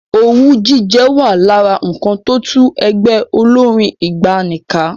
Owú jíjẹ wà lára nǹkan tó tú ẹgbẹ́ olórín ìgbàanì ká.